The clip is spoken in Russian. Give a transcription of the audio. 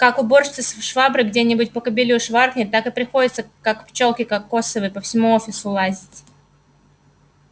как уборщица шваброй где-нибудь по кабелю шваркнет так и приходится как пчёлке кокосовой по всему офису лазить